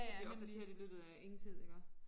Det bliver opdateret i løbet af ingen tid iggå